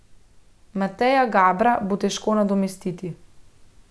Mateja Gabra bo težko nadomestiti.